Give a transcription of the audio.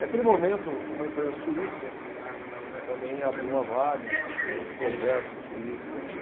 Naquele momento, uma empresa suíça também abriu uma vaga para os projetos suíços aqui.